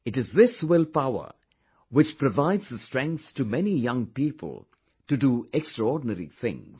It is this will power, which provides the strength to many young people to do extraordinary things